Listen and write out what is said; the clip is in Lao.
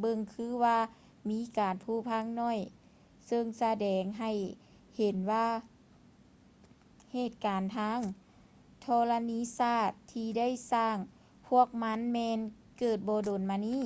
ເບິ່ງຄືວ່າມີການຜຸພັງໜ້ອຍ ເຊິ່ງສະແດງໃຫ້ເຫັນວ່າເຫດການທາງທໍລະນີສາດທີ່ໄດ້ສ້າງພວກມັນແມ່ນເກີດບໍ່ດົນມານີ້